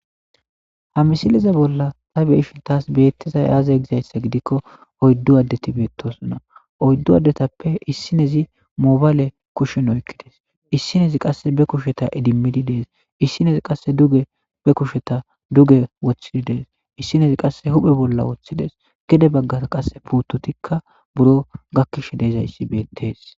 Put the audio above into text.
Ha misileza bolla ta beishin taas beettezay aaze gizayssa gidikko oyddu addeti beettosonna oyddu addetappe issinezi moobayle kushen oykkides issinezi qasse be kusheta idimmidi dees issinezi qasse duge be kusheta duge woththidi dees issinezi qasse huphe bolla woththidees gede baggaa qasse puutotikka buro gakkish deezayssi beettees.